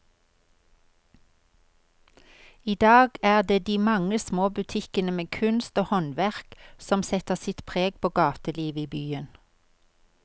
I dag er det de mange små butikkene med kunst og håndverk som setter sitt preg på gatelivet i byen.